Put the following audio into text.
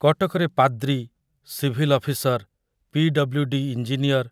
କଟକରେ ପାଦ୍ରୀ, civil officer, PWD. Engineer